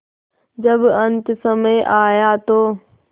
जब अन्तसमय आया तो